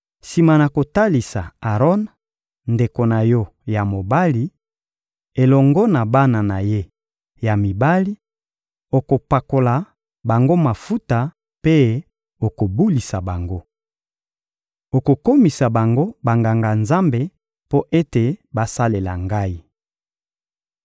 Sima na kolatisa Aron, ndeko na yo ya mobali, elongo na bana na ye ya mibali, okopakola bango mafuta mpe okobulisa bango. Okokomisa bango Banganga-Nzambe mpo ete basalela Ngai.